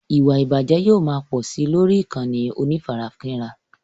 Ìwà ìbàjẹ́ yóò máa pò sí lórí ìkànnì onífarakínra.